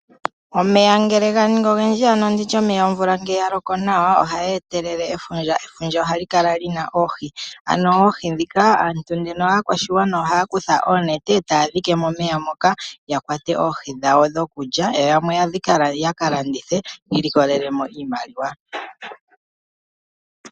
Omeya ngele ga ningi ogendji ano nditye omeya ngele omvula ya loko nawa ohayi etelele efundja, efundja ohali kala lina oohi, ano oohi aakwashigwana ohaya kutha oonete etaya dhike momeya moka ya ya Kwate oohi dhawo dhoku Lya yo yamwe yaka landithe ya ilikolelelo mo iimaliwa .